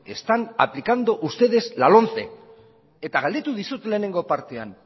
están aplicando ustedes la lomce eta galdetu dizut lehenengo partean